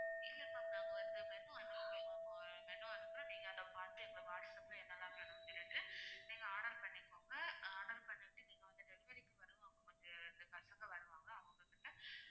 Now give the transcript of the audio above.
இல்லை ma'am நாங்க வந்து menu அனுப்புறோம் ma'am menu அனுப்புறோம் நீங்க அதை பார்த்து whatsapp ல என்னெல்லாம் வேணும்னு சொல்லிட்டு நீங்க order பண்ணிக்கோங்க order பண்ணிட்டு நீங்க வந்து delivery க்கு வருவாங்க கொஞ்சம் ரெண்டு பசங்க வருவாங்க அவங்ககிட்ட